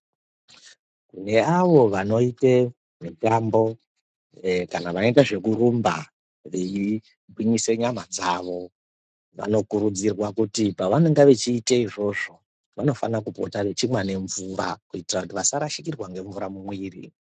Neavo vanoite mitambo kana vanoita zvekurumba, kugwinyise nyama dzawo, vanokurudzirwa kuti pavanoita izvozvozvo vanofane kupota veimwa nemvura kuitira kuti vasarashikirwa ngemvura mumuviri.